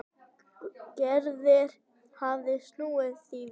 Gerður hafði snúið því við.